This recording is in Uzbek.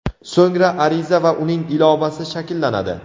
So‘ngra ariza va uning ilovasi shakllanadi.